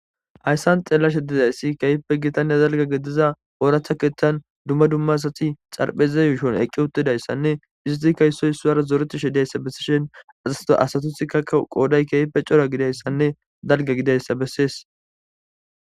Hayssan xeella shedidayssi keeyippe gitana zalga gediza ooratha keeththan dumma dumma asati xarpheze yushon eqqi uttidayssanne iziti ka yssoy suwar zoreti shedayssa bessishen azasato asatuth kakka qooday keype cora gidayssanne dalga gidayssa bessees.